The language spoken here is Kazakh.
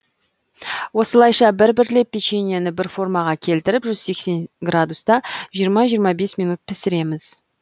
осылайша бір бірлеп печеньені бір формаға келтіріп жүз сексен градуста жиырма жиырма бес минут пісіреміз